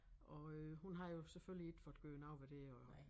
Og øh hun havde jo selvfølgelig ikke fået gjort noget ved det og